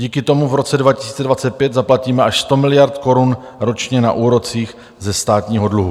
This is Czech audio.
Díky tomu v roce 2025 zaplatíme až 100 miliard korun ročně na úrocích ze státního dluhu.